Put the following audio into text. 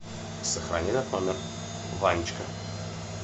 сохрани этот номер ванечка